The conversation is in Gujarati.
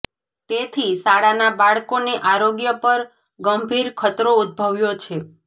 તેથી શાળાના બાળકોને આરોગ્ય પર ગંભીર ખતરો ઉદ્દભવ્યો છે